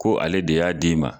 Ko ale de y'a d'i ma.